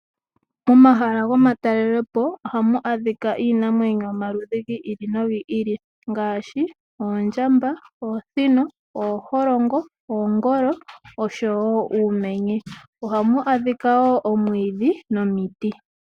Momahala gomatalelepo ohamu adhika iinamwenyo yomaludhi gi ili nogi ngaashi oondjamba, oosino ,ooholongo ,oongolo oshowo uumenye. Ohamu adhika woo omwiidhi nomiti.